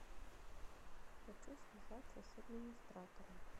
хочу связаться с администратором